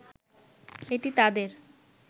এটি তাদের